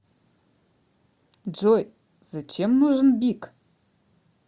джой зачем нужен бик